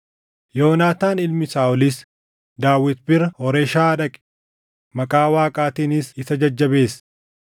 Yoonaataan ilmi Saaʼolis Daawit bira Hooreshaa dhaqe; maqaa Waaqaatiinis isa jajjabeesse.